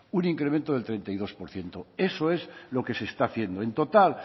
un incremento del treinta y dos por ciento eso es lo que se está haciendo en total